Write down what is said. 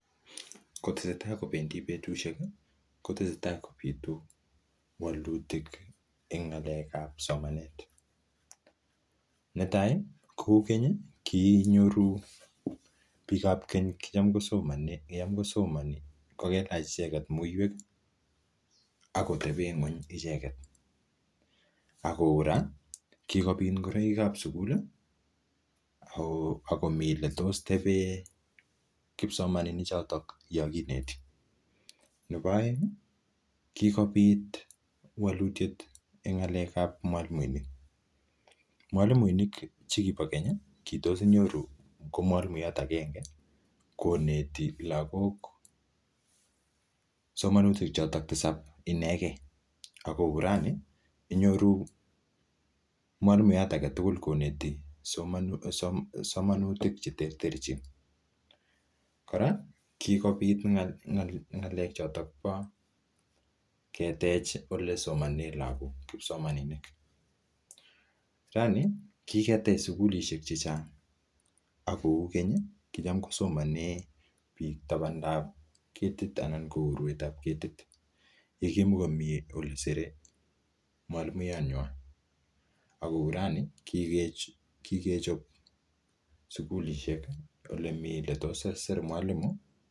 Kotesetai kobendi betusiek kotesetai kobitu wolutik en ng'alekab somanet, netai kou keny kiinyoru biikab keny kicham kosomonik kokelach icheket muiwek akotepen ngweny icheket ako raa kikopit ngoroikab sukul, ako mii oletos teben kipsomaninichoton yongineti kikobit wolutiet en ng'alekab mwalimuinik mwalimuinik chekipo keny kitos inyoru ngo mwalimuyat akenge koneti lakok somanutik choton tisab inekei ako rani inyoru mwalimuyat agetugul koneti somanutik cheterterchin kora kikopit ng'alekab ketech yesomanen lakok kipsomaninik rani kiketech sikulisiek chechang akou keny kichem kosomanen biik tabandab ketit anan ko uruetab ketit yekimoko mii olesere mwalimuyanywan akou rani kikechop en sikulisiek olemi oletosir mwalimu.